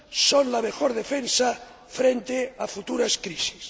son la mejor defensa frente a futuras crisis.